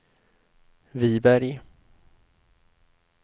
Viberg